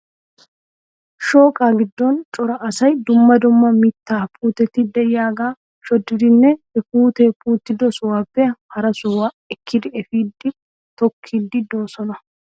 Shooqaa giddon cora asay dumma dumma mittaa puuteti de'iyagaa shoddiiddinne he puutee puutido sohuwappe hara sohuwa ekkidi efiidi tookkiiddi de'oosona.